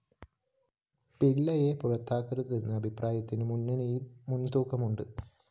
പിള്ളയെ പുറത്താക്കരുതെന്ന അഭിപ്രായത്തിനും മുന്നണയില്‍ മുന്‍തൂക്കമുണ്ട്